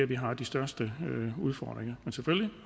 vi har de største udfordringer men selvfølgelig